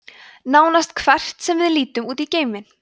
nánast hvert sem við lítum út í geiminn